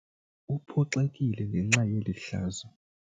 Uphoxekile ngenxa yeli hlazo.